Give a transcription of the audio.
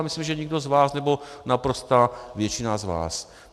A myslím, že nikdo z vás, nebo naprostá většina z vás.